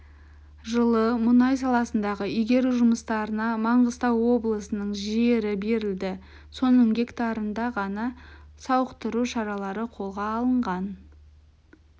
жылы мұнай саласындағы игеру жұмыстарына маңғыстау облысының жері берілді соның гектарында ғана сауықтыру шаралары қолға алынған